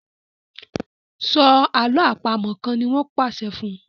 So àlọ́ àpamọ̀ kán!ní wón pàṣẹ fún